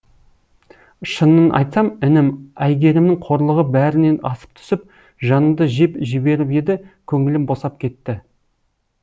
шынын айтсам інім айгерімнің қорлығы бәрінен асып түсіп жанымды жеп жіберіп еді көңілім босап кетті